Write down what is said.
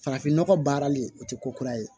Farafin nɔgɔ baarali o tɛ ko kura ye